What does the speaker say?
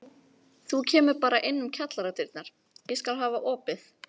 Þú kemur bara inn um kjallaradyrnar, ég skal hafa opið.